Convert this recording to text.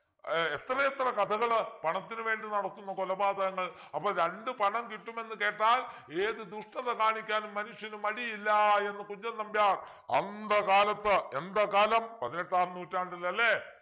ഏർ എത്രയെത്ര കഥകള് പണത്തിനു വേണ്ടി നടത്തുന്ന കൊലപാതകങ്ങൾ അപ്പൊ രണ്ടു പണം കിട്ടുമെന്ന് കേട്ടാൽ ഏത് ദുഷ്ടത കാണിക്കാനും മനുഷ്യന് മടിയില്ല എന്ന് കുഞ്ചൻ നമ്പ്യാർ അന്ത കാലത്തു എന്ത കാലം പതിനെട്ടാം നൂറ്റാണ്ടിൽ അല്ലെ